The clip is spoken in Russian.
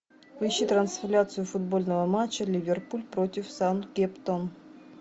поищи трансляцию футбольного матча ливерпуль против саутгемптон